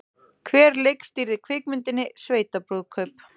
Hver leikstýrði kvikmyndinni Sveitabrúðkaup?